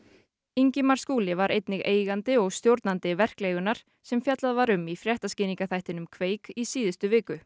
Ingimar Skúli var einnig eigandi og stjórnandi sem fjallað var um í fréttaskýringaþættinum í síðustu viku